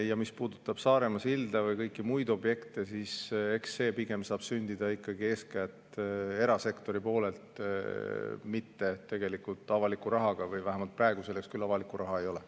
Ja mis puudutab Saaremaa silda või kõiki muid objekte, siis eks see pigem saab sündida ikkagi eeskätt erasektori toel, mitte avaliku rahaga, vähemalt praegu selleks küll avalikku raha ei ole.